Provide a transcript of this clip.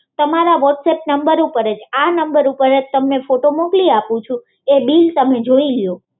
તમારા WhatsApp number ઉપર જ આ નંબર ઉપર જ તમને ફોટો મોકલી આપું છુ એ બીલ તમે જોઈ લ્યો